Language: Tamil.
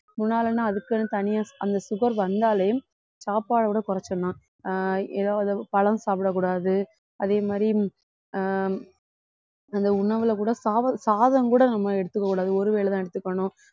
முன்னாலேன்னா அதுக்குன்னு தனியா அந்த sugar வந்தாலே சாப்பாடோட குறைச்சிறலாம் ஆஹ் எதாவது பழம் சாப்பிடக் கூடாது அதே மாதிரி ஆஹ் அந்த உணவுல கூட சாதம் கூட சத்தம் கூட நம்ம எடுத்துக்கக்கூடாது ஒரு வேளைதான் எடுத்துக்கணும்